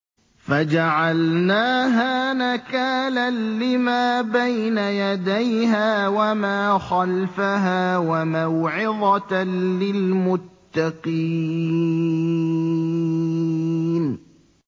فَجَعَلْنَاهَا نَكَالًا لِّمَا بَيْنَ يَدَيْهَا وَمَا خَلْفَهَا وَمَوْعِظَةً لِّلْمُتَّقِينَ